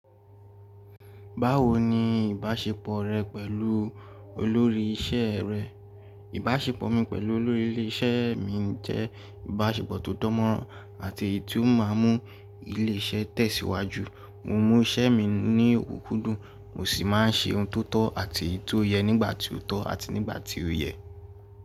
Báwo ni ìbáṣepọ̀ rẹ pẹ̀lú olórí isẹ́ rẹ? Ìbáṣepọ̀ mi pẹ̀lú olórí ilé isẹ́ mi jẹ́ ìbáṣepọ̀ tó dánmọ́nrán àti èyí tó má ń mú ilé isẹ́ tẹ̀síwájú. Mo mún isẹ́ mi ní òkúkú dùn, mo sì má ń se ohun tó tọ̀ àti tó yẹ nígbà tí ó tọ́ àti nígbà tí ó yẹ.